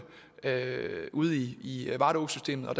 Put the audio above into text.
ude i varde å systemet og at